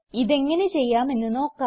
ഇതെങ്ങനെ ചെയ്യാമെന്ന് നോക്കാം